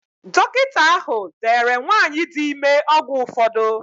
Dọkịta ahụ deere nwanyị dị ime ọgwụ ụfọdụ.